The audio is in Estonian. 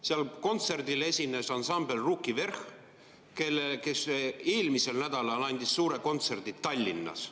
Seal kontserdil esines ansambel Ruki Vverh!, kes eelmisel nädalal andis suure kontserdi Tallinnas.